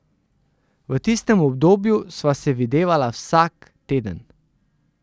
V tistem obdobju sva se videvala vsak teden.